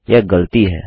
यह गलती है